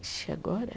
Ixi, agora?